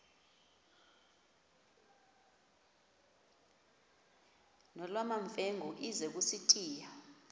nolwamamfengu ize kusitiya